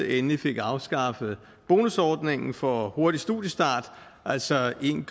endelig fik afskaffet bonusordningen for en hurtig studiestart altså en